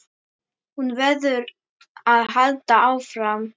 Hún verður að halda áfram.